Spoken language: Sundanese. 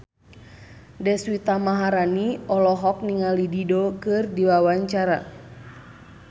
Deswita Maharani olohok ningali Dido keur diwawancara